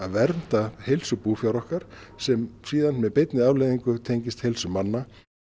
vernda heilsu búfjár okkar sem með beinni afleiðingu tengist heilsu manna